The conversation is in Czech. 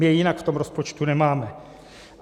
My je jinak v tom rozpočtu nemáme.